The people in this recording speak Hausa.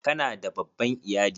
Ka na da babban iyali?